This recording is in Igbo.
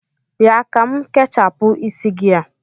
Bịa ka m kechapụ isi gị a!